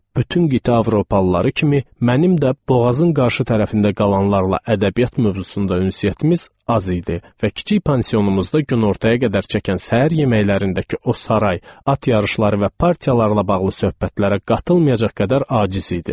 Bütün qitə avropalıları kimi mənim də boğazın qarşı tərəfində qalanlarla ədəbiyyat mövzusunda ünsiyyətimiz az idi və kiçik pansionumuzda günortaya qədər çəkən səhər yeməklərindəki o saray, at yarışları və partiyalarla bağlı söhbətlərə qatılmayacaq qədər aciz idim.